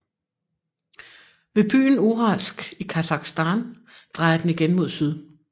Ved byen Uralsk i Kasakhstan drejer den igen mod syd